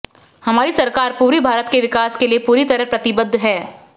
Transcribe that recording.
हमारी सरकार पूर्वी भारत के विकास के लिए पूरी तरह प्रतिबद्ध है